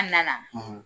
An nana